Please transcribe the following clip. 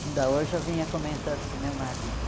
Ainda hoje eu vinha comentando com o meu marido.